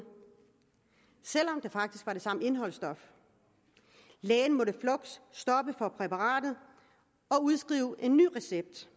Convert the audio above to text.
selv om der faktisk var det samme indholdsstof lægen måtte fluks stoppe for brug af præparatet og udskrive en ny recept